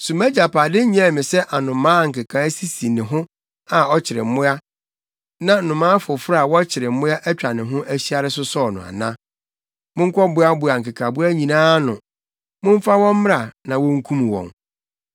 So mʼagyapade nyɛɛ me sɛ anomaa a nkekae sisi ne ho a ɔkyere mmoa na nnomaa foforo a wɔkyere mmoa atwa ne ho ahyia resosɔw no ana? Monkɔboaboa nkekaboa nyinaa ano. Momfa wɔn mmra na wonkum wɔn.